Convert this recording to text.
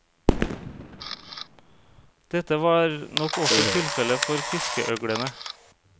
Dette var nok også tilfellet for fiskeøglene.